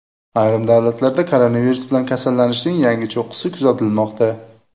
Ayrim davlatlarda koronavirus bilan kasallanishning yangi cho‘qqisi kuzatilmoqda.